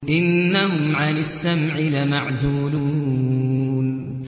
إِنَّهُمْ عَنِ السَّمْعِ لَمَعْزُولُونَ